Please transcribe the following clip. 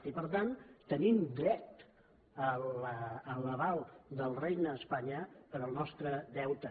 i per tant tenim dret a l’aval del regne d’espanya per al nostre deute